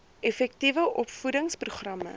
effektiewe opvoedings programme